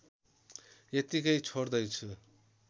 यत्तिकै छोड्दैछु